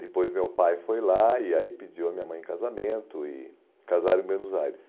Depois meu pai foi lá e aí pediu a minha mãe em casamento e casaram em Buenos Aires.